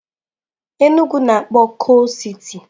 Enugwu na-akpọ coal city.